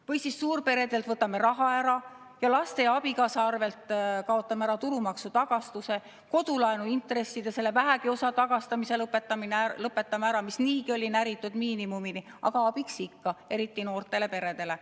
Või siis võtame suurperedelt raha ära ning kaotame ära laste ja abikaasaga seotud tulumaksutagastuse, lõpetame ära kodulaenuintresside selle vähegi osa tagastamise, mis niigi oli näritud miinimumini, aga oli abiks ikka, eriti noortele peredele.